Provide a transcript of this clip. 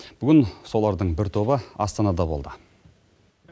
бүгін солардың бір тобы астанада болды